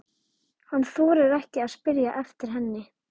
Skoðanir yrðu eflaust skiptar og málamiðlun erfið.